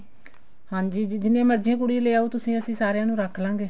ਹਾਂਜੀ ਜੀ ਜਿੰਨੀਆਂ ਮਰਜੀ ਕੁੜੀਆਂ ਲੈ ਆਓ ਤੁਸੀਂ ਅਸੀਂ ਸਾਰੀਆਂ ਨੂੰ ਰੱਖ ਲਵਾਂਗੇ